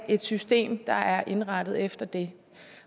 et system der er indrettet efter det